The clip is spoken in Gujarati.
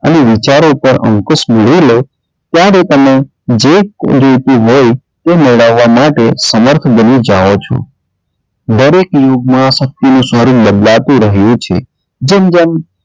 અને વિચારો પર અંકુશ મેળવી લો ત્યારે તમે જે ખોય લીધું હોય તે મેળવવા માટે સમર્થ બની જાવ છો દરેક યુગમાં શક્તિનું સ્વરૂપ બદલાતું રહે છે. જેમ જેમ,